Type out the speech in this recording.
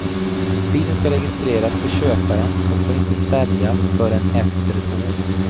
Bilen ska registreras på köparen och får inte säljas förrän efter ett år.